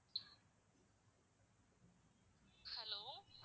Hello